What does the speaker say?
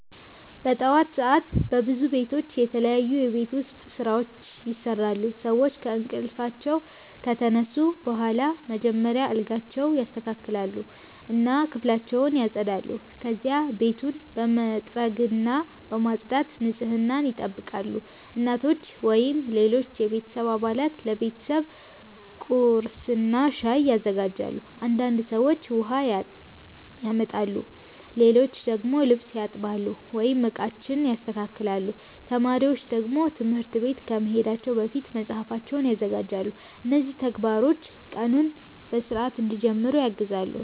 ጠዋት ሰዓት በብዙ ቤቶች የተለያዩ የቤት ውስጥ ስራዎች ይሰራሉ። ሰዎች ከእንቅልፋቸው ከተነሱ በኋላ መጀመሪያ አልጋቸውን ያስተካክላሉ እና ክፍላቸውን ያጸዳሉ። ከዚያ ቤቱን በመጥረግና በማጽዳት ንጽህናን ይጠብቃሉ። እናቶች ወይም ሌሎች የቤተሰብ አባላት ለቤተሰቡ ቁርስና ሻይ ያዘጋጃሉ። አንዳንድ ሰዎች ውሃ ያመጣሉ፣ ሌሎች ደግሞ ልብስ ያጥባሉ ወይም ዕቃዎችን ያስተካክላሉ። ተማሪዎች ደግሞ ትምህርት ቤት ከመሄዳቸው በፊት መጽሐፋቸውን ያዘጋጃሉ። እነዚህ ተግባሮች ቀኑን በሥርዓት እንዲጀምሩ ያግዛሉ።